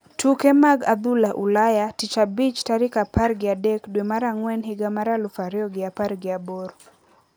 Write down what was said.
Tuke mag adhula ulaya Tich Abich tarik apar gi adek dwe mar ang`wen higa mar aluf ariyo gi apar gi abor.